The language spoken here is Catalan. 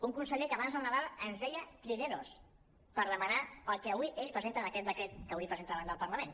un conseller que abans de nadal ens deia trileros per demanar el que avui ell presenta en aquest decret que avui presenta davant del parlament